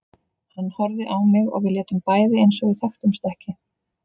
Hann horfði á mig og við létum bæði eins og við þekktumst ekki.